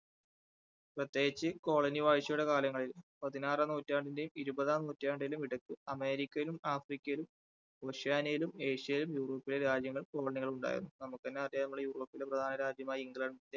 പ്രത്യേകിച്ച് colony വാഴ്ചയുടെ കാലങ്ങളിൽ പതിനാറാം നൂറ്റാണ്ടിന്റെയും ഇരുപതാം നൂറ്റാണ്ടിന്റെയും ഇടയ്ക്ക് അമേരിക്കയിലും, ആഫ്രിക്കയിലും, ഓഷ്യാനയിലും, ഏഷ്യയിലും, യൂറോപ്പിലെ രാജ്യങ്ങൾ colony കൾ ഉണ്ടായിരുന്നു. നമുക്ക് തന്നെ അറിയാം നമ്മൾ യൂറോപ്പിലെ പ്രധാന രാജ്യമായ ഇംഗ്ലണ്ടിന്റെ